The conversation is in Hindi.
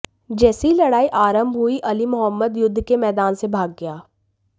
जैसे ही लड़ाई आरंभ हुई अली मुहम्मद युद्ध के मैदान से भाग गया